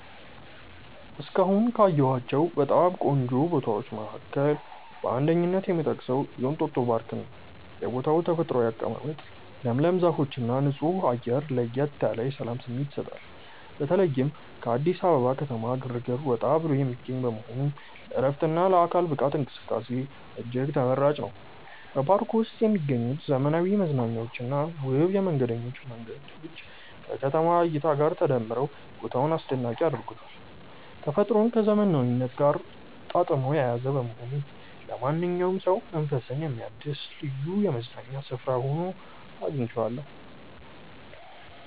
እስካሁን ካየኋቸው በጣም ቆንጆ ቦታዎች መካከል በአንደኝነት የምጠቀሰው የእንጦጦ ፓርክን ነው። የቦታው ተፈጥሯዊ አቀማመጥ፣ ለምለም ዛፎችና ንጹህ አየር ለየት ያለ የሰላም ስሜት ይሰጣል። በተለይም ከአዲስ አበባ ከተማ ግርግር ወጣ ብሎ የሚገኝ በመሆኑ ለዕረፍትና ለአካል ብቃት እንቅስቃሴ እጅግ ተመራጭ ነው። በፓርኩ ውስጥ የሚገኙት ዘመናዊ መዝናኛዎችና ውብ የመንገደኞች መንገዶች ከከተማዋ እይታ ጋር ተዳምረው ቦታውን አስደናቂ ያደርጉታል። ተፈጥሮን ከዘመናዊነት ጋር አጣጥሞ የያዘ በመሆኑ ለማንኛውም ሰው መንፈስን የሚያድስ ልዩ የመዝናኛ ስፍራ ሆኖ አግኝቼዋለሁ።